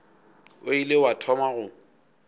o ile wa thoma go